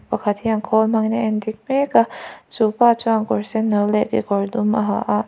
pakhat hian khâwl hmangin a endik mêk a chupa chuan kawr sen no leh kekawr dum a ha a.